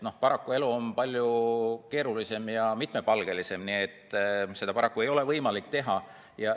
Paraku elu on palju keerulisem ja mitmepalgelisem, nii et seda paraku ei ole võimalik teha.